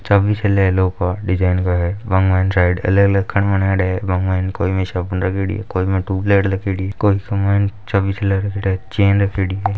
चाबी शे ले लो डीजाईन का है --